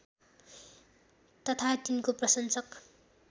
तथा तिनको प्रशंसक